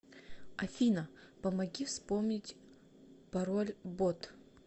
афина помоги вспомнить пороль бот